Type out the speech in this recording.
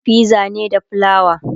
anayin fiza ne da flawa